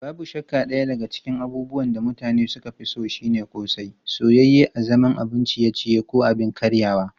Babu shakka daya daga cikin abubuwan da mutane suka fi so shine ƙosai, soyayye a zaman abun ciye-ciye ko abin karyawa.